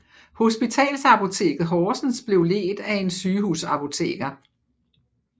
Hospitalsapoteket Horsens blev ledt af en sygehusapoteker